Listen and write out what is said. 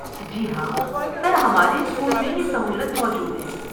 جی ہاں، سر، ہمارے اسکول میں یہ سہولت موجود ہے۔